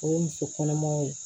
O ye muso kɔnɔmaw ye